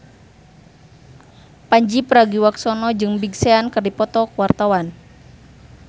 Pandji Pragiwaksono jeung Big Sean keur dipoto ku wartawan